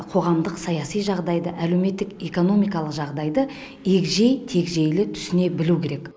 қоғамдық саяси жағдайды әлеуметтік экономикалық жағдайды егжей тегжейлі түсіне білуі керек